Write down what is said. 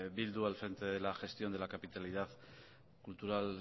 bildu al frente de la gestión de la capitalidad cultural